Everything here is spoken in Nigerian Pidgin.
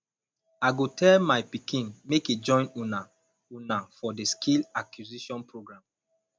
i go tell my pikin make e join una una for the skill acquisition program